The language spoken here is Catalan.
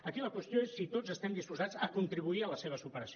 aquí la qüestió és si tots estem disposats a contribuir a la seva superació